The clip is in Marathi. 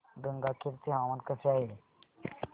गंगाखेड चे हवामान कसे आहे